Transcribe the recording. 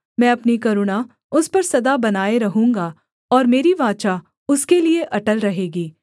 मैं अपनी करुणा उस पर सदा बनाए रहूँगा और मेरी वाचा उसके लिये अटल रहेगी